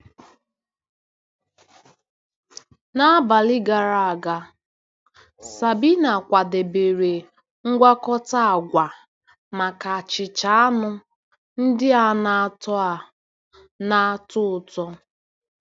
N'abalị gara aga, Sabina kwadebere mgwakota agwa maka achịcha anụ ndị a na-atọ a na-atọ ụtọ.